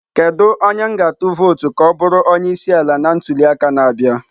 Kedu onye m ga-atụ vootu ka ọ bụrụ onye isi ala na ntuli aka na-abịa?